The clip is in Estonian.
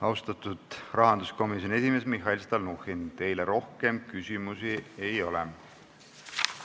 Austatud rahanduskomisjoni esimees, Mihhail Stalnuhhin, teile rohkem küsimusi ei ole.